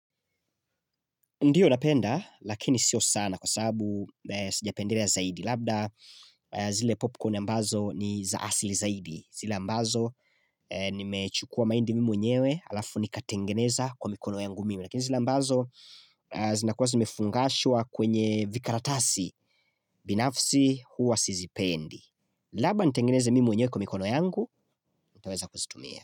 Ndiyo napenda lakini sio sana kwa sababu sijapendelea zaidi. Labda zile popcorn ambazo ni za asili zaidi. Zile ambazo nimechukua mahindi mimi mwenyewe alafu nikatengeneza kwa mikono yangu mimi. Lakini zile ambazo zinakuwa zimefungashua kwenye vikaratasi binafsi huwa sizipendi. Labda nitengeneze mimi mwenyewe kwa mikono yangu, mtaweza kuzitumia.